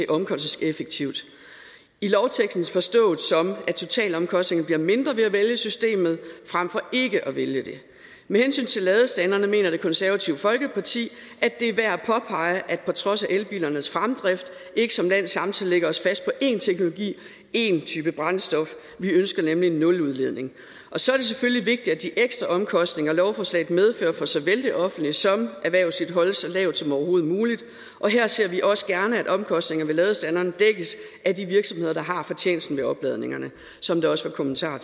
omkostningseffektivt i lovteksten forstået som at totalomkostningerne bliver mindre ved at vælge systemet frem for ikke at vælge det med hensyn til ladestanderne mener det konservative folkeparti at det er værd at påpege at vi på trods af elbilernes fremgang ikke som land samtidig lægger os fast på én teknologi én type brændstof vi ønsker nemlig en nuludledning og så er det selvfølgelig vigtigt at de ekstra omkostninger lovforslaget medfører for såvel det offentlige som erhvervslivet holdes så lave som overhovedet muligt og her ser vi også gerne at omkostningerne ved ladestanderne dækkes af de virksomheder der har fortjenesten ved opladningerne som der også var kommentarer